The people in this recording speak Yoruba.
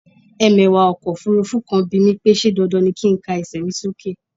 Ẹmẹ̀wà ọkọ̀ òfurufú kan bimí pé ṣe dandan ni kin ká ẹsẹ mi sókè?